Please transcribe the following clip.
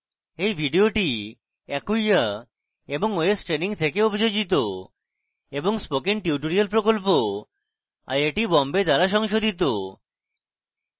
এই video acquia এবং ostraining থেকে অভিযোজিত এবং spoken tutorial প্রকল্প আইআইটি বোম্বে দ্বারা সংশোধিত